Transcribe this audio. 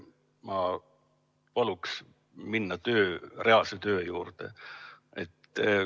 Ma palun minna reaalse töö juurde.